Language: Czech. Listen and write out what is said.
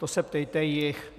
To se ptejte jich.